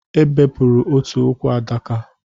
E bepụrụ otu ụkwụ Adaka